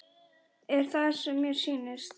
Er það sem mér sýnist?